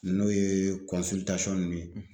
N'o yee nunnu ye